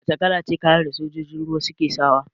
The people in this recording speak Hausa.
Wace kalace kalar kayan da sojojin ruwa suke sawa?